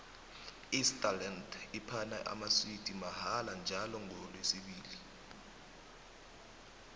isterland iphana amaswidi mahala njalo ngolesibili